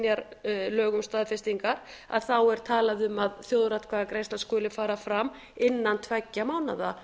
synjar lögum staðfestingar að þá er talað um að þjóðaratkvæðagreiðsla skuli fara fram innan tveggja mánaða